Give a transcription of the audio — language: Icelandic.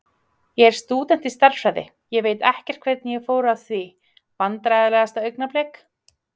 Ég er stúdent í stærðfræði, ég veit ekkert hvernig ég fór að því Vandræðalegasta augnablik?